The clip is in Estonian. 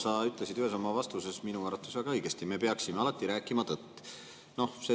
Sa ütlesid ühes oma vastuses minu arvates väga õigesti: me peaksime alati rääkima tõtt.